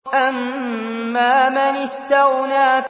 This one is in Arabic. أَمَّا مَنِ اسْتَغْنَىٰ